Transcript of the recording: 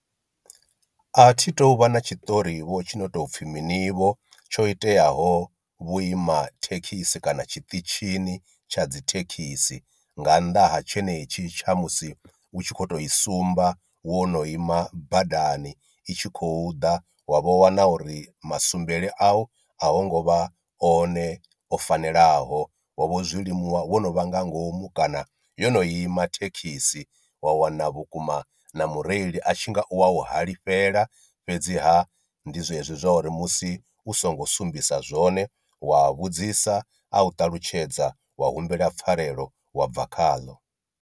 A thi to u vha na tshiṱori vho tshi ndo tou pfhi mini vho tsho iteaho vhuima thekhisi kana tshiṱitshini tsha dzi thekhisi, nga nnḓa ha tshenetshi tsha musi u tshi kho to i sumba wo no ima badani i tshi khou ḓa wa vha wana uri musumbele a u a hu ngo vha one o fanelaho wa vho zwilimuwa wo no vha nga ngomu kana yo no ima thekhisi wa wana vhukuma na mureili a tshi nga u wa u halifhela, fhedziha ndi zwezwi zwa uri musi u songo sumbisa zwone wa vhudzisa a u ṱalutshedza wa humbela pfarelo wa bva khaḽo.